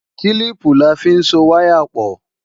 Kílíìpù la fi ń so wáyà pọ̀